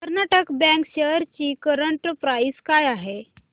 Karnataka bank shares ची current price काय आहे